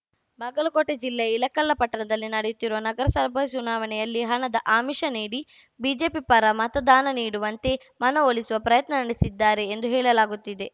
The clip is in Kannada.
ಬಾಗಲಕೋಟೆ ಜಿಲ್ಲೆಯ ಇಳಕಲ್ಲ ಪಟ್ಟಣದಲ್ಲಿ ನಡೆಯುತ್ತಿರುವ ನಗರಸಭ ಚುನಾವಣೆಯಲ್ಲಿ ಹಣದ ಆಮಿಷ ನೀಡಿ ಬಿಜೆಪಿ ಪರ ಮತದಾನ ನೀಡುವಂತೆ ಮನವೊಲಿಸುವ ಪ್ರಯತ್ನ ನಡೆಸಿದ್ದಾರೆ ಎಂದು ಹೇಳಲಾಗುತ್ತಿದೆ